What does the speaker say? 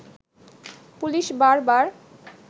police বার বার